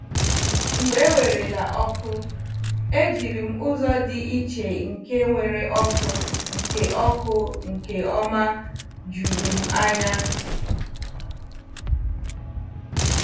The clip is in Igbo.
Mgbe ewerela ọkụ ,e jirim ụzo di iche nke nwere ọkụ nke ọkụ nke ọma jụrụ m anya.